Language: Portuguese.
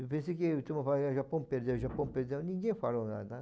Eu pensei que todo mundo ia falar, o Japão perdeu, o Japão perdeu, ninguém falou nada.